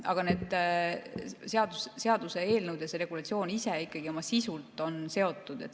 Aga need seaduseelnõud ja regulatsioon ise oma sisult on seotud.